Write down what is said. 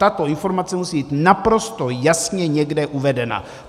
Tato informace musí být naprosto jasně někde uvedena.